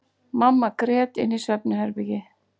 Mamma grét inni í svefnherbergi.